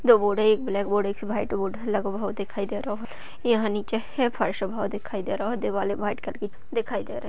दो बोर्ड है। एक ब्लैक बोर्ड है एक वाइट बोर्ड लगो हुओ दिखाई दे रहो। यहाँ नीचे फर्श लगो हुओ दिखाई दे रहो। दीवाल वाइट कलर की दिखाई --